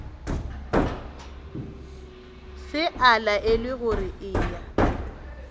se a laelwa gore eya